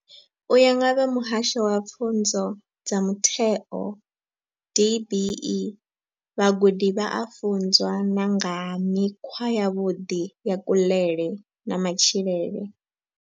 U ya nga vha muhasho wa pfunzo dza mutheo DBE, vhagudi vha a funzwa na nga ha mikhwa yavhuḓi ya kuḽele na matshilele.